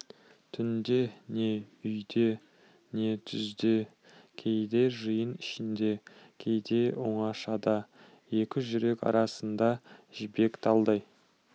түнде не үйде не түзде кейде жиын ішінде кейде оңашада екі жүрек арасына жібек талдай